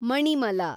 Manimala